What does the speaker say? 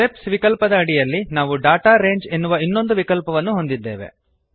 steps ವಿಕಲ್ಪದ ಅಡಿಯಲ್ಲಿ ನಾವು ಡಾಟಾ ರಂಗೆ ಎನ್ನುವ ಇನ್ನೊಂದು ವಿಕಲ್ಪವನ್ನು ಹೊಂದಿದ್ದೇವೆ